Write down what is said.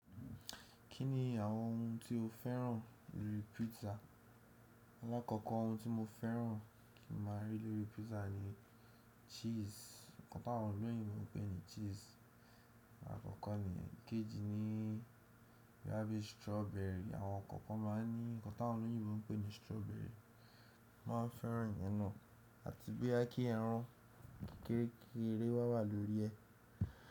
Kí ni àwọn ohun tí o féràn lórí pizza? Alákòkò ohun tí mo féràn kí n máa rí lórí pizza ni cheese. Ǹkan táwọn olóyìnbo pé ni cheese. Àkọ́kọ́ ni yẹn, ìkejì ni bóyá bí strawberry. Àwọn kankan ma ń ní ǹkan táwọn olóyìnbo ń pé ni strawberry. Mo má ń féràn ìyẹn náà àti bóyá kí ẹran kérekére wà wà lórí ẹ.